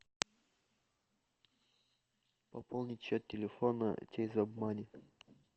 пополнить счет телефона через вебмани